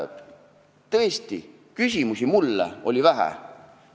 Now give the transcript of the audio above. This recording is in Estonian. Tõesti, küsimusi mulle oli vähe.